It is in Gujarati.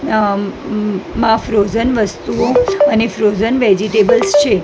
અમ મ માં ફ્રોઝન વસ્તુઓ અને ફ્રોઝન વેજીટેબલ્સ છે.